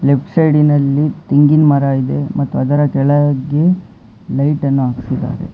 Left ಸೈಡಿನಲ್ಲಿ ತೆಂಗಿನ ಮರ ಇದೆ ಮತ್ತು ಅದರ ಕೆಳಗೆ ಲೈಟನ್ನು ಹಾಕಿದ್ದಾರೆ.